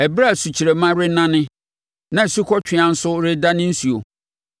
ɛberɛ a sukyerɛmma renane na asukɔtweaa nso redane nsuo,